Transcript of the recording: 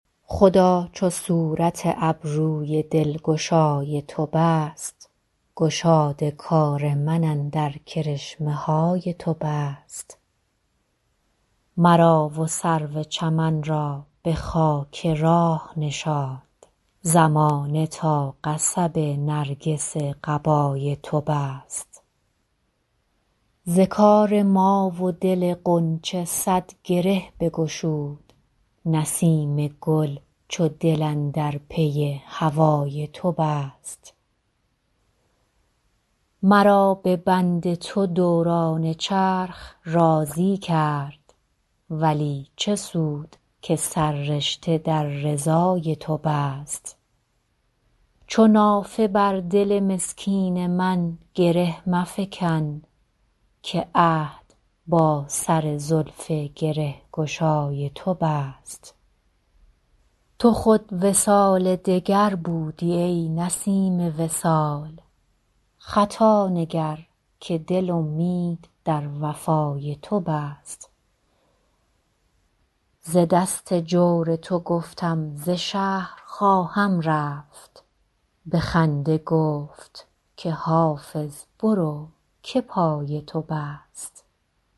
خدا چو صورت ابروی دلگشای تو بست گشاد کار من اندر کرشمه های تو بست مرا و سرو چمن را به خاک راه نشاند زمانه تا قصب نرگس قبای تو بست ز کار ما و دل غنچه صد گره بگشود نسیم گل چو دل اندر پی هوای تو بست مرا به بند تو دوران چرخ راضی کرد ولی چه سود که سررشته در رضای تو بست چو نافه بر دل مسکین من گره مفکن که عهد با سر زلف گره گشای تو بست تو خود وصال دگر بودی ای نسیم وصال خطا نگر که دل امید در وفای تو بست ز دست جور تو گفتم ز شهر خواهم رفت به خنده گفت که حافظ برو که پای تو بست